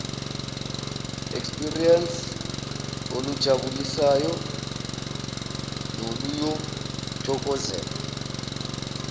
experience olujabulisayo noluyothokozelwa